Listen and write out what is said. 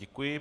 Děkuji.